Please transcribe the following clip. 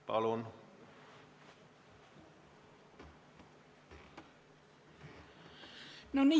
Palun!